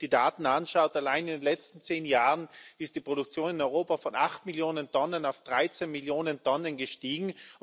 Wenn man sich die Daten anschaut Allein in den letzten zehn Jahren ist die Produktion in Europa von acht Millionen Tonnen auf dreizehn Millionen Tonnen gestiegen.